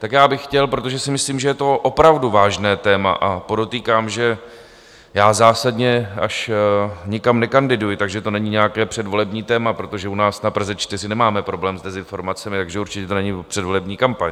Tak já bych chtěl, protože si myslím, že to je opravdu vážné téma, a podotýkám, že já zásadně až nikam nekandiduji, takže to není nějaké předvolební téma, protože u nás na Praze 4 nemáme problém s dezinformacemi, takže určitě to není předvolební kampaň.